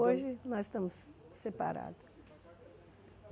Hoje nós estamos separados.